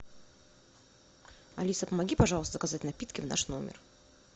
алиса помоги пожалуйста заказать напитки в наш номер